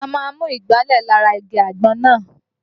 Wọ́n á máa mú ìgbálẹ̀ lára igi àgbọn náà